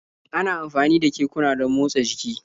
Ana amfani da kekuna don motsa jiki